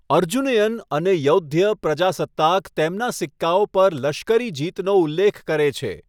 અર્જુનયન અને યૌધ્ય પ્રજાસત્તાક તેમના સિક્કાઓ પર લશ્કરી જીતનો ઉલ્લેખ કરે છે.